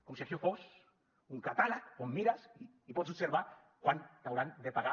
com si això fos un catàleg on mires i pots observar quant t’hauran de pagar